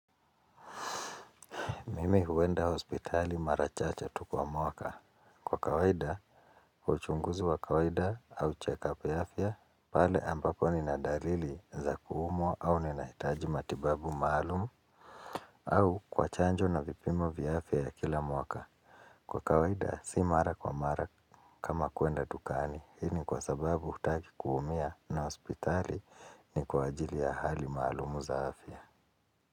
Mimi huenda hospitali mara chache tu kwa mwaka. Kwa kawaida, uchunguzi wa kawaida au check up ya afya, pale ambapo nina dalili za kuumwa au ninahitaji matibabu maalumu au kwa chanjo na vipimo vya afya ya kila mwaka. Kwa kawaida, si mara kwa mara kama kuenda dukani. Hii kwa sababu hutaki kuumia na hospitali ni kwa ajili ya hali maalumu za afya.